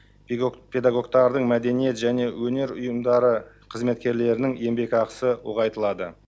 педагогтардың мәдениет және өнер ұйымдары қызметкерлерінің еңбекақысы ұлғайтылады